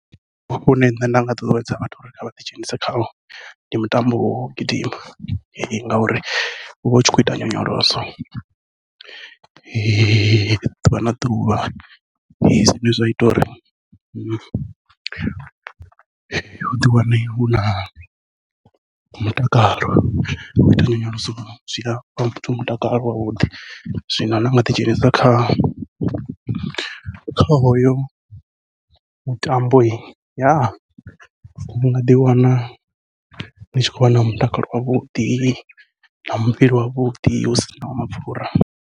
Une nṋe nda nga ṱuṱuwedza vhathu uri vha ḓi dzhenise khawo ndi mutambo wau gidima, ngauri uvha utshi khou ita nyonyoloso ḓuvha na ḓuvha zwine zwa ita uri uḓi wane u na mutakalo u ita nyonyoloso zwi afha muthu mutakalo wavhuḓi. Zwino nda nga ḓi dzhenisa kha kha hoyo mutambo unga ḓi wana ndi tshi khou vha na mutakalo wavhuḓi na muvhili wavhuḓi u sinaho mapfhura.